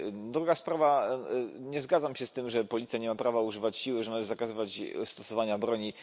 Druga sprawa, nie zgadzam się z tym, że policja nie ma prawa używać siły, że należy zakazywać stosowania broni.